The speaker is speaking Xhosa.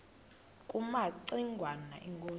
kumaci ngwana inkosi